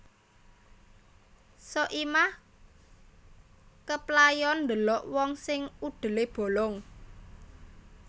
Soimah keplayon ndelok wong sing udele bolong